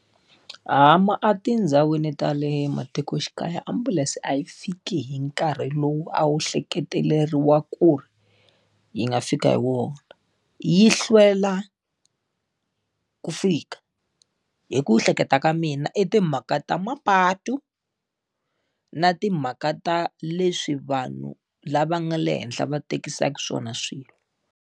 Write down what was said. etindhawini ta le matikoxikaya ambulense a yi fiki hi nkarhi lowu a wu hleketeleriwa ku ri yi nga fika hi wona, yi hlwela ku fika. Hi ku ehleketa ka mina i timhaka ta mapatu, na timhaka ta leswi vanhu lava nga le henhla va tekisaka swona swilo.